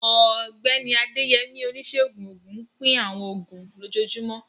Ọ̀gbẹ́ni Adeyemi, oníṣègùn òògùn, ń pín àwọn oògùn lójoojúmọ́.